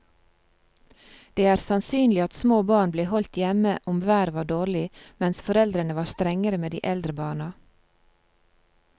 Det er sannsynlig at små barn ble holdt hjemme om været var dårlig, mens foreldrene var strengere med de eldre barna.